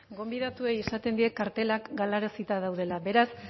gonbidatuei esaten diet kartelak galarazita daudela beraz